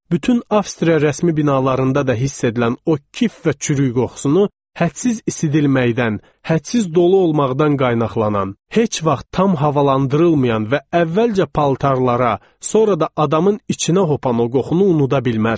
Bütün Avstriya rəsmi binalarında da hiss edilən o kif və çürük qoxusunu, hədsiz isidilməkdən, hədsiz dolu olmaqdan qaynaqlanan, heç vaxt tam havalandırılmayan və əvvəlcə paltarlara, sonra da adamın içinə hopan o qoxunu unuda bilmərəm.